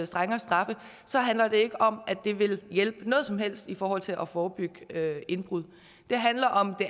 strengere straffe så handler det ikke om at det vil hjælpe noget som helst i forhold til at forebygge indbrud det handler om det